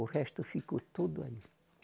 O resto ficou tudo aí